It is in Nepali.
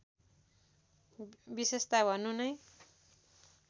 विशेषता भन्नु नै